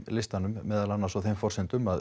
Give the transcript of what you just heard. listanum meðal annars á þeim forsendum að